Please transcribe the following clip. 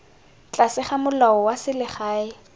tlase ga molao wa selegae